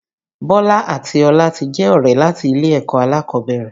Bọlá àti Ọlá ti jẹ́ ọ̀rẹ́ láti ilé ẹ̀kọ́ alákọ̀ọ́bẹ̀rẹ̀